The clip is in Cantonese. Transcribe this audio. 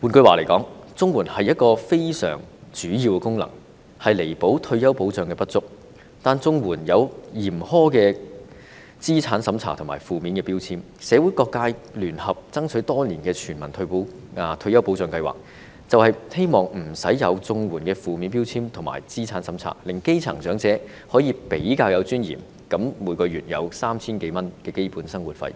換言之，綜援一個非常主要的功能，是彌補退休保障的不足，但綜援設有嚴苛的資產審查和有負面標籤，社會各界聯合爭取多年的全民退休保障計劃，便是希望免除綜援的負面標籤和資產審查，令基層長者可以比較有尊嚴地每月領取 3,000 多元的基本生活費。